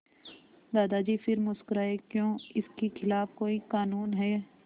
दादाजी फिर मुस्कराए क्यों इसके खिलाफ़ कोई कानून है